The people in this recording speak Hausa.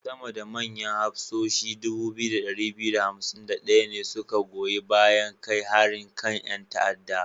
Sama da manyan hafsoshi 2251 ne su ka goyi bayan kai harin kan 'yan ta'adda.